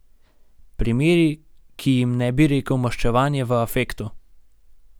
Primeri, ki jim ne bi rekel maščevanje v afektu.